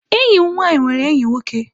Enyi m nwanyi nwere enyi nwoke.